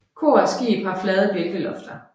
Kor og skib har flade bjælkelofter